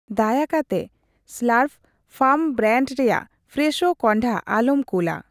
ᱫᱟᱭᱟ ᱠᱟᱛᱮ ᱥᱞᱟᱨᱨᱯ ᱯᱷᱟᱨᱢ ᱵᱨᱟᱱᱰ ᱨᱮᱭᱟᱜ ᱯᱷᱨᱮᱥᱷᱳ ᱠᱚᱱᱰᱦᱟ ᱟᱞᱚᱢ ᱠᱩᱞᱟ ᱾